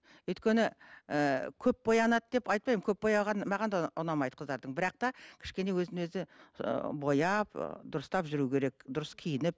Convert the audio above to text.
өйткені і көп боянады деп айтпаймын көп бояған маған да ұнамайды қыздардың бірақ та кішкене өзін өзі ы бояп ы дұрыстап жүру керек дұрыс киініп